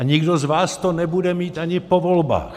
A nikdo z vás to nebude mít ani po volbách!